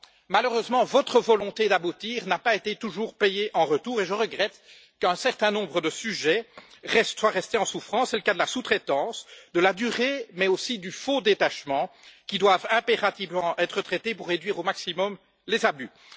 Malheureusement, votre volonté d'aboutir n'a pas été toujours payée en retour et je regrette qu'un certain nombre de sujets restent en souffrance c'est le cas de la sous-traitance, de la durée, mais aussi du faux détachement qui doivent impérativement être traités pour réduire au maximum les abus.